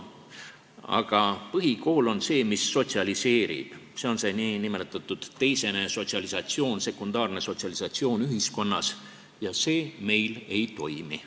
Aga põhikool on see, mis sotsialiseerib, see on see nn teisene, sekundaarne sotsialisatsioon ühiskonnas ja see meil ei toimi.